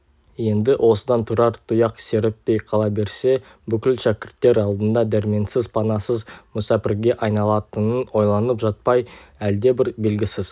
енді осыдан тұрар тұяқ серіппей қала берсе бүкіл шәкірттер алдында дәрменсіз панасыз мүсәпірге айналатынын ойланып жатпай әлдебір белгісіз